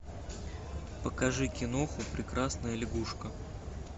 покажи киноху прекрасная лягушка